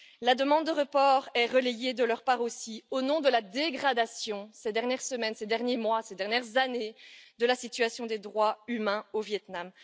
La demande de report est relayée de leur part aussi au motif de la dégradation ces dernières semaines, ces derniers mois, ces dernières années, de la situation des droits humains au Viêt Nam.